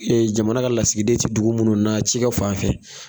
jamana ka lasigiden tɛ dugu munnu na cikɛ fan fɛ.